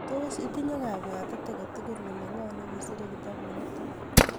tos itinye kabwatet agetugul kole ngo ne kisirei kitabut nitok